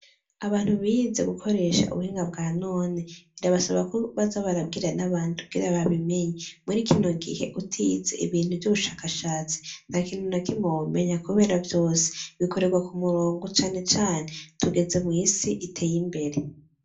Abantu bize gukoresha ubuhinga bwa none birabasaba ko baza barabwira n'abandi kugira babimenye. Muri kino gihe utize ibintu vy'ubushakashatsi ntakintu nakimwe womenya kubera vyose bikoregwa ku murongo, cane cane tugeze mw'isi iteye imbere.